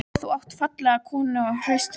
Þú átt fallega konu og hraust börn.